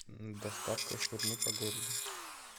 доставка шаурмы по городу